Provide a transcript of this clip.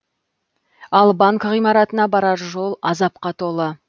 ал банк ғимаратына барар жол азапқа толы